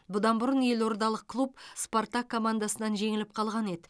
бұдан бұрын елордалық клуб спартак командасынан жеңіліп қалған еді